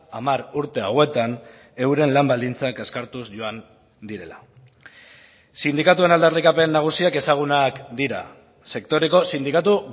hamar urte hauetan euren lan baldintzak kaskartuz joan direla sindikatuen aldarrikapen nagusiak ezagunak dira sektoreko sindikatu